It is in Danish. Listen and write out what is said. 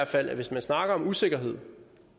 fald at hvis man snakker om usikkerhed